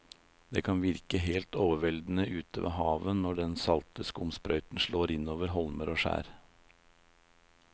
Det kan virke helt overveldende ute ved havet når den salte skumsprøyten slår innover holmer og skjær.